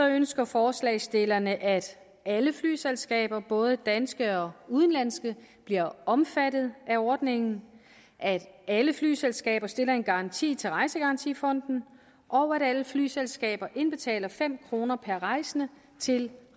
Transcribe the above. ønsker forslagsstillerne at alle flyselskaber både danske og udenlandske bliver omfattet af ordningen at alle flyselskaber stiller en garanti til rejsegarantifonden og at alle flyselskaber indbetaler fem kroner per rejsende til